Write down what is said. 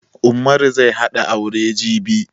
Ummaru zai hada aure jibi